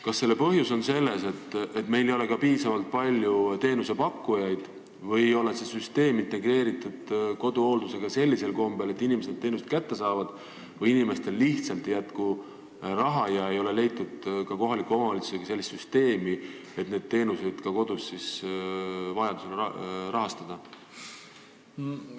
Kas selle põhjus on selles, et meil ei ole piisavalt palju teenusepakkujaid või ei ole see süsteem integreeritud koduhooldusega sellisel kombel, et inimesed teenust kätte saaksid, või inimestel lihtsalt ei jätku raha ega ole leitud ka koos kohaliku omavalitsusega sellist süsteemi, et neid koduteenuseid vajadusel rahastada?